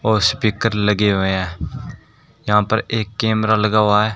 और स्पीकर लगे हुए हैं यहां पर एक कैमरा लगा हुआ है।